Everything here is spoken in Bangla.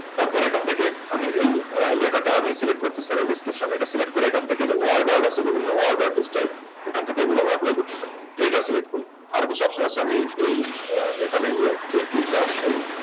তারপর এখান থেকে এই লেখাটা আমি Select করতেছি Channel description এটা Word করে তারপর এখান থেকে যায় Order distype এখান থেকে এগুলো আমি Apply করতে পারি এইটা Select করলাম সব সময় আমি এই যে Field টা